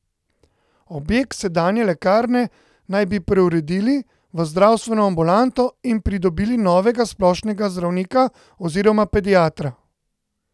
Objekt sedanje lekarne naj bi preuredili v zdravstveno ambulanto in pridobili novega splošnega zdravnika oziroma pediatra.